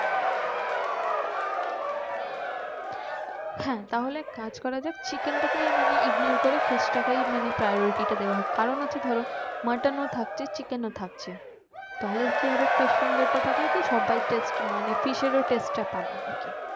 হ্যাঁ তাহলে এক কাজ করা যাক chicken টা কে মানে ignore করে fish টাকেই মানে priority টা দিয়া হোক কারণ হচ্ছে ধরো mutton ও থাকছে chicken ও থাকছে